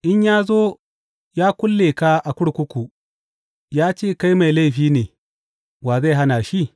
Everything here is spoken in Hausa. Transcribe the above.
In ya zo ya kulle ka a kurkuku ya ce kai mai laifi ne, wa zai hana shi?